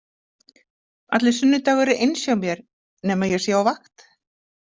Allir sunnudagar eru eins hjá mér nema ég sé á vakt.